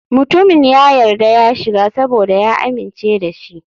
Mutumin ya yarda ya shiga saboda ya amince da shi.